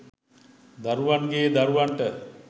දරුවන්ගේ දරුවන්ට